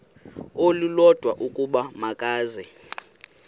olulodwa ukuba makeze